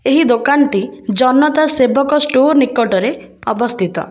ଏହି ଦୋକାନଟି ଜନତା ସେବକ ଷ୍ଟୋର ନିକଟରେ ଅବସ୍ଥିତ।